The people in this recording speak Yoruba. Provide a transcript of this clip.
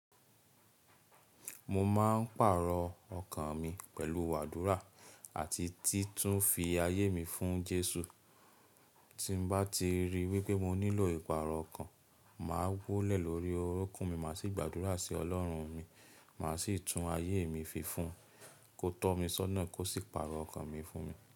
Mo máa ń pàrọ̀ ọkàn mi pẹ̀lú àdúrà àti títún fi ayé mi fún Jésù. Tín bá ti rí wípé mo nílò ìpàrọ̀ ọkàn, màá wólẹ̀ lórí orúnkún mi, màá sì gbàdúrà sí Ọlọ́run mi, màá sì tún ayé mi fi fún, kó tọ́ mi sọ́nà kó sì pàrọ̀ ọkàn mi fún mi.